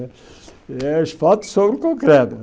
É asfalto sobre o concreto.